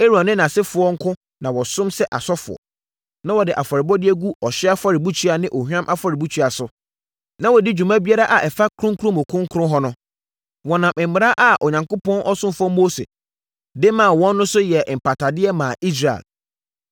Aaron ne nʼasefoɔ nko na wɔsom sɛ asɔfoɔ. Na wɔde afɔrebɔdeɛ gu ɔhyeɛ afɔrebukyia ne ohwam afɔrebukyia so, na wɔdi dwuma biara a ɛfa kronkron mu kronkron hɔ ho. Wɔnam mmara a Onyankopɔn ɔsomfoɔ Mose de maa wɔn no so yɛɛ mpatadeɛ maa Israel.